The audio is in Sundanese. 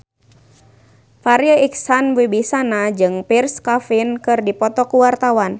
Farri Icksan Wibisana jeung Pierre Coffin keur dipoto ku wartawan